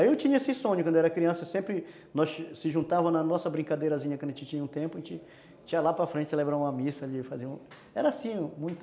Aí eu tinha esse sonho, quando eu era criança, sempre nós se juntávamos na nossa brincadeirazinha, quando a gente tinha um tempo, a gente ia lá para frente celebrarmos uma missa ali, fazer um... Era assim, muito...